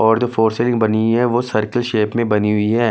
और जो फोर र्सेलिंग बनी हुई है वो सर्किल शेप में बनी हुई है।